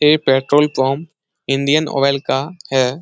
यह petrol pump Indian Oil का है ।